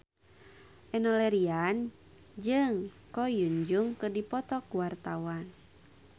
Enno Lerian jeung Ko Hyun Jung keur dipoto ku wartawan